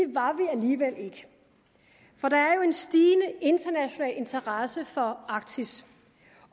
vi alligevel ikke for der er jo en stigende international interesse for arktis